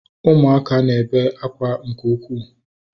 Ụmụaka na-ebe akwa nke ukwuu